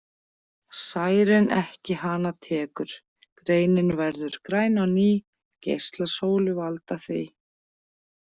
Særinn ekki hana tekur Greinin verður græn á ný geislar sólu valda því.